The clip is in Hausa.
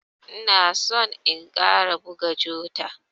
Ina son in ƙara buga jota.